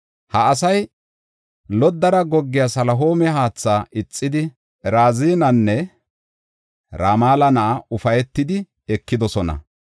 “Ha asay loddara goggiya Salihoome haatha ixidi, Razinanne Ramala na7aa ufaytidi ekidosona.